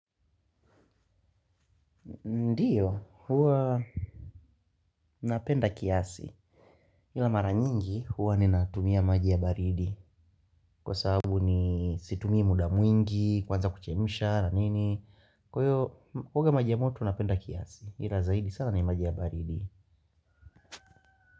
Ndiyo huwa napenda kiasi ila mara nyingi huwa ni natumia maji ya baridi kwa sababu ni situmie muda mwingi kwanza kuchemisha ranini kwa iyo kuoga maji ya moto napenda kiasi ila zaidi sala ni maji ya baridi.